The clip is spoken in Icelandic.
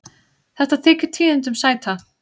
Þetta þykir tíðindum sæta.